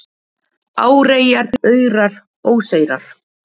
Áreyrar, aurar, óseyrar